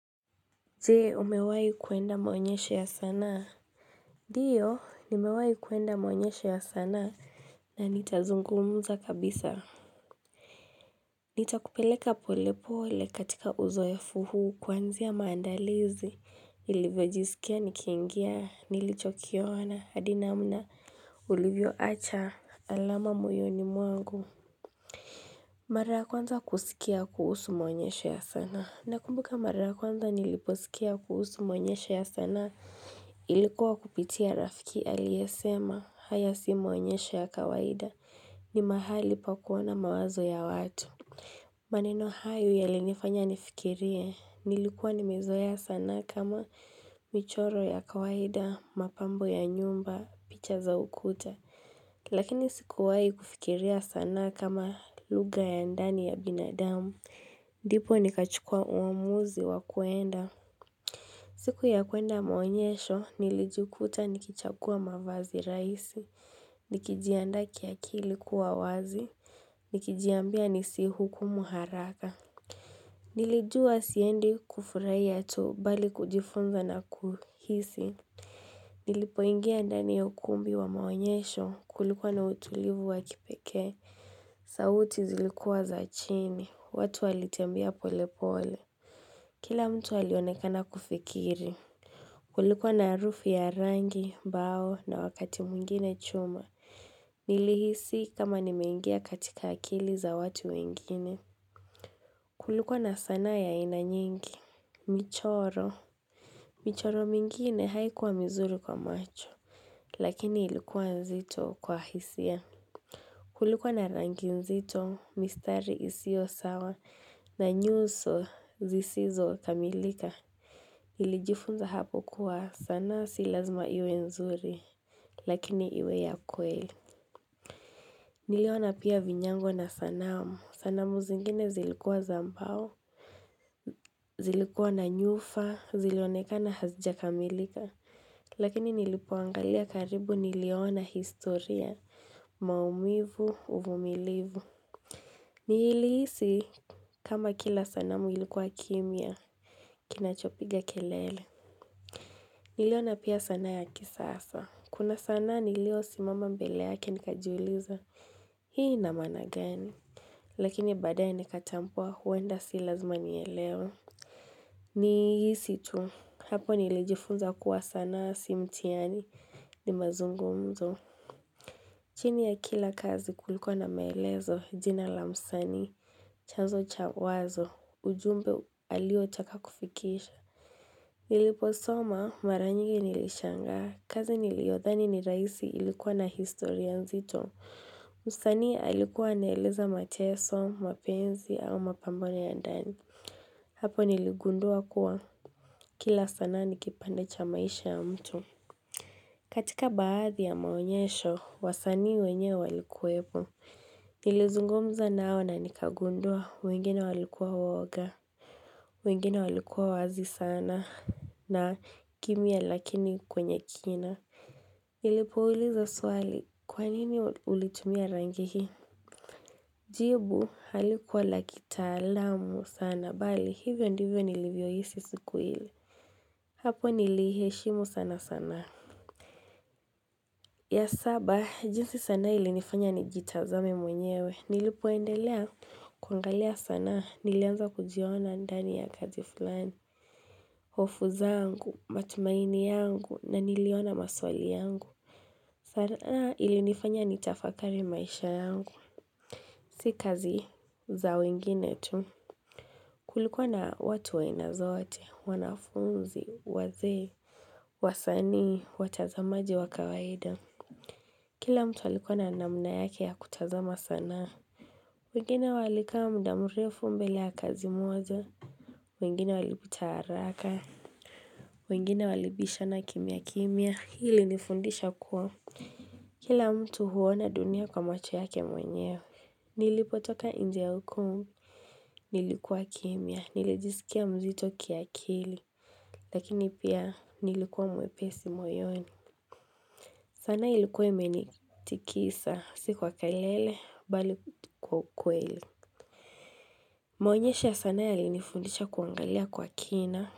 Je umewai kuenda maonyesho ya sanaa? Diyo nimewahi kuenda maonyesho ya sanaa na nitazungumza kabisa. Nitakupeleka polepole katika uzoefu huu kuanzia maandalizi nilivyojisikia nikiingia nilichokiona hadi namna ulivyoacha alama moyoni mwangu. Mara ya kwanza kusikia kuhusu maonyesho ya sanaa. Nakumbuka mara ya kwanza niliposikia kuhusu maonyesho ya sanaa ilikuwa kupitia rafiki aliyesema haya si maonyesho ya kawaida ni mahali pa kuona mawazo ya watu. Maneno hayo yalinifanya nifikirie. Nilikuwa nimezoea sanaa kama michoro ya kawaida, mapambo ya nyumba, picha za ukuta. Lakini sikuwahi kufikiria sanaa kama lugha ya ndani ya binadamu. Ndipo nikachukua uamuzi wa kuenda. Siku ya kuenda maonyesho, nilijikuta nikichagua mavazi rahisi. Nikijiandaa kiakili kuwa wazi. Nikijiambia nisihukumu haraka. Nilijua siendi kufurahia tu bali kujifunza na kuhisi. Nilipoingia ndani ya ukumbi wa maonyesho kulikwa na utulivu wa kipekea. Sauti zilikuwa za chini. Watu walitembea pole pole. Kila mtu alionekana kufikiri. Kulikwa na harufu ya rangi, mbao na wakati mwingine chuma. Nilihisi kama nimeingia katika akili za watu wengine. Kulikwa na sanaa ya aina nyingi. Michoro michoro mingine haikuwa mizuri kwa macho Lakini ilikuwa nzito kwa hisia Kulikuwa na rangi nzito, mistari isiosawa na nyuso zisizokamilika nilijifunza hapo kuwa sanaa si lazima iwe nzuri Lakini iwe ya kweli Niliona pia vinyango na sanamu, sanamu zingine zilikuwa za mbao zilikuwa na nyufa, zilionekana hazijakamilika Lakini nilipoangalia karibu niliona historia, maumivu, uvumilivu. Nilihisi kama kila sanamu ilikuwa kimya, kinachopiga kelele. Niliona pia sanaa ya kisasa. Kuna sanaa nilio simama mbele yake nikajiuliza. Hii inamaana gani. Lakini baadaye nikatambua huenda si lazima nielewe. Ni hisi tu. Hapo nilijifunza kuwa sanaa si mtihani ni mazungumzo. Chini ya kila kazi kulikuwa na maelezo jina la msanii. Chanzo cha wazo. Ujumbe aliotaka kufikisha. Niliposoma mara nyingi nilishangaa. Kazi niliodhani ni rahisi ilikuwa na historia nzito. Msanii alikuwa anaeleza mateso, mapenzi au mapambano ya ndani. Hapo niligundua kuwa kila sanaa nikipande cha maisha ya mtu. Katika baadhi ya maonyesho, wasanii wenyewe walikuwepo. Nilizungumza nao na nikagundua wengine walikuwa waoga wengine walikuwa wazi sana na kimya lakini kwenye kina Nilipouliza swali kwa nini ulitumia rangi hii Jibu halikuwa la kitaalamu sana bali hivyo ndivyo nilivyo hisi siku hili Hapo niliiheshimu sana sanaa ya saba, jinsi sanaa ilinifanya nijitazame mwenyewe, nilipoendelea, kuangalia sanaa, nilianza kujiona ndani ya kazi fulani. Hofu zangu, matumaini yangu, na niliona maswali yangu. Sanaa ilinifanya ni tafakari maisha yangu, si kazi za wengine tu. Kulikwa na watu aina zote, wanafunzi, wazee, wasanii, watazamaji wa kawaida. Kila mtu alikuwa na namna yake ya kutazama sanaa. Wengine walikaa muda mrefu mbele ya kazi moja. Wengine walipita haraka. Wengine walibisha na kimya kimya. Hii ilinifundisha kuwa. Kila mtu huona dunia kwa macho yake mwenyewe. Nilipotoka nje ukum. Nilikuwa kimya. Nilijisikia mzito kiakili. Lakini pia nilikuwa mwepesi moyoni. Sanaa ilikuwa imenitikisa. Si kwa kelele bali kwa ukweli Maonyesho ya sanaa yalinifundisha kuangalia kwa kina.